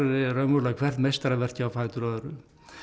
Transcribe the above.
er raunverulega hvert meistaraverkið á fætur öðru